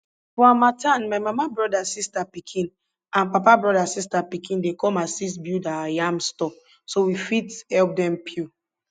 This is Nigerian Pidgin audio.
for harmattan my mama broda sista pikin and papa broda sista pikin dey come assist build our yam store so we fit help dem peel